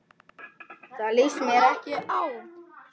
Það líst mér ekki á.